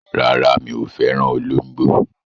Rárá, mi ò fẹ́ràn olóńgbò.